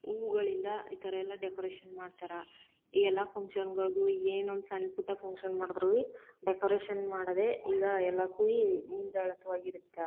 ಹೂವುಗಳಿಂದ ಈ ತರ ಎಲ್ಲ ಡೆಕೋರೇಷನ್ ಮಾಡ್ತಾರಾ . ಈಗ ಎಲ್ಲ ಫಂಕ್ಷನ್ ಗಳಿಗೂ ಏನು ಸಣ್ಣ ಪುಟ್ಟ ಫಂಕ್ಷನ್ ಮಾಡಿದ್ರು ಡೆಕೋರೇಷನ್ ಮಾಡೋದೇ ಈಗ ಎಲ್ಲ ಕಡೆ .]